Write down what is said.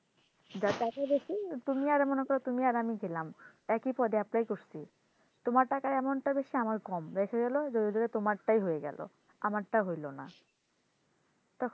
যার টাকা বেশি তুমি মনে করো তুমি আর আমি গেলাম এক ই পদে apply করছি তোমার টাকার amount টা বেশি আমারটা কম যদি দেখো তোমারটাই হয়ে গেলো আমারটা হইলো না তখন,